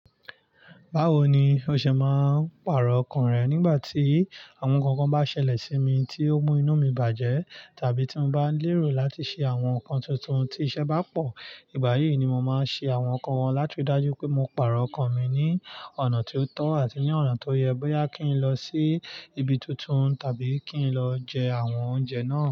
Báwo ni o ṣe máa ń pàrọ̀ ọkàn rẹ nígbà tí àwọn nǹkan bá ṣẹlẹ̀ sí mi tí ó mú inú mi bàjẹ́, tàbí tí mo bá lérò láti ṣe àwọn nǹkan tuntun tí ìṣẹ́ bá pọ̀? Ìgbà yìí ni mo máa ń ṣe àwọn nǹkan wọn, láti ríi dájú pé mo pàrọ̀ ọkàn mi ní ọ̀nà tí ó tọ́ àti ní ọ̀nà tó yẹ bóyá kí n lọ sí ibi tuntun tàbí kí n lọ jẹ àwọn oúnjẹ náà.